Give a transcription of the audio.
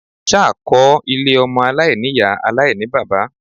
Ṣá kọ́ ilé ọmọ aláìní-Ìyá aláìní-bàbá.?